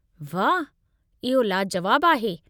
वाह! इहो लाजुवाबु आहे।